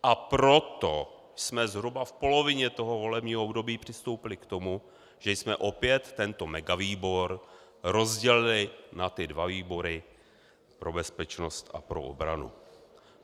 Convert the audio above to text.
A proto jsme zhruba v polovině toho volebního období přistoupili k tomu, že jsme opět tento megavýbor rozdělili na ty dva výbory - pro bezpečnost a pro obranu.